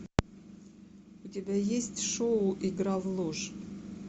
у тебя есть шоу игра в ложь